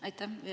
Aitäh!